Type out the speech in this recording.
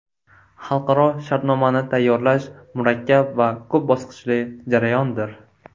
Xalqaro shartnomani tayyorlash murakkab va ko‘p bosqichli jarayondir.